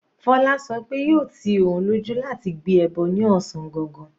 Fola sọ pé yóò ti òun lójú láti gbé ẹbọ ní ọ̀sán gangan.